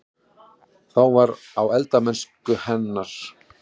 Það var: á eldamennsku hennar.